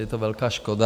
Je to velká škoda.